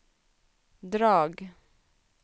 drag